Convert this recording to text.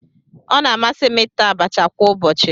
Ọ na-amasị m ita abacha kwa ụbọchị.